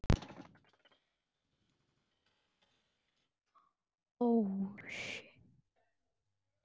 Án þess að fatta það.